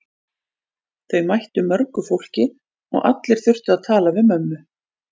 Þau mættu mörgu fólki og allir þurftu að tala við mömmu.